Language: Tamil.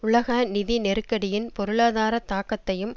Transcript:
உலக நிதி நெருக்கடியின் பொருளாதார தாக்கத்தையும்